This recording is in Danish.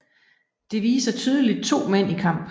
Det viser tydeligt to mænd i kamp